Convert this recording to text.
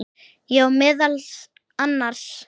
Já, meðal annars.